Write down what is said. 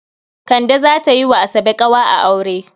Kande za ta yi wa Asabe ƙawa a aure.